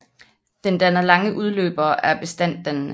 Den danner lange udløbere og er bestanddannende